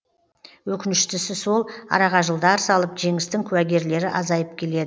өкініштісі сол араға жылдар салып жеңістің куәгерлері азайып келеді